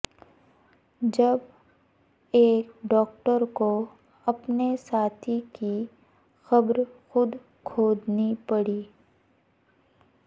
جب ایک ڈاکٹر کو اپنے ساتھی کی قبر خود کھودنی پڑی